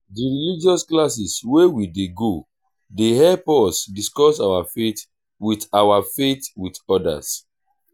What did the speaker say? di religious classes wey we dey go dey help us discuss our faith wit our faith wit odas.